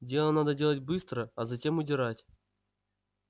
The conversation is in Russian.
дело надо делать быстро а затем удирать